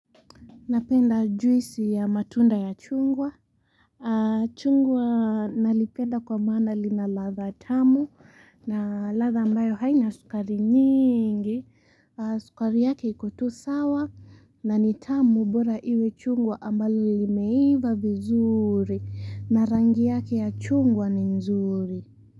Napenda juisi ya matunda ya chungwa chungwa nalipenda kwa maana lina latha tamu na latha ambayo haina sukari nyingi sukari yake iko tu sawa na ni tamu bora iwe chungwa ambalo limeiva vizuri na rangi yake ya chungwa ni nzuri.